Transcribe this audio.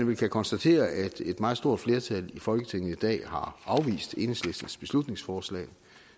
vel kan konstatere at et meget stort flertal i folketinget i dag har afvist enhedslistens beslutningsforslag